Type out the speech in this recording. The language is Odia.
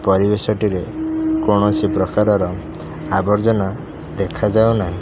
ପରିବେଶଟିରେ କୌଣସି ପ୍ରକାରର ଆବର୍ଜନା ଦେଖାଯାଉ ନାହିଁ।